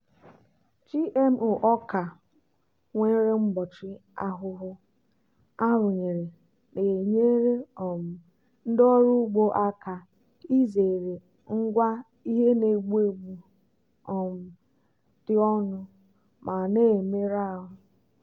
gmo ọka nwere mgbochi ahụhụ arụnyere na-enyere um ndị ọrụ ugbo aka izere ngwa ihe na-egbu egbu um dị ọnụ ma na-emerụ ahụ.